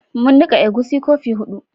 Mun nika egusi kofi hudu